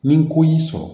Ni ko y'i sɔrɔ